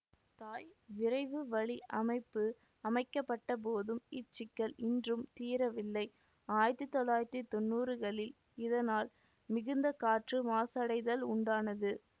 தாய் விரைவுவழி அமைப்பு அமைக்கப்பட்டபோதும் இச்சிக்கல் இன்றும் தீரவில்லை ஆயிரத்தி தொள்ளாயிரத்தி தொன்னூறுகளில் இதனால் மிகுந்த காற்று மாசடைதல் உண்டானது